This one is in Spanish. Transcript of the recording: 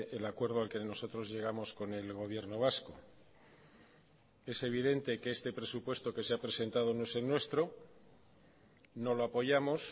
el acuerdo al que nosotros llegamos con el gobierno vasco es evidente que este presupuesto que se ha presentado no es el nuestro no lo apoyamos